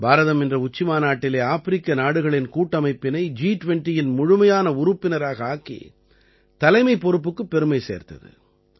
பாரதம் இந்த உச்சிமாநாட்டிலே ஆப்பிரிக்க நாடுகளின் கூட்டமைப்பினை ஜி 20இன் முழுமையான உறுப்பினராக ஆக்கி தலைமைப் பொறுப்புக்குப் பெருமை சேர்த்தது